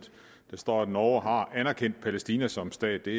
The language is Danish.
står at norge har anerkendt palæstina som stat det